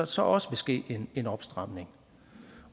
så også vil ske en opstramning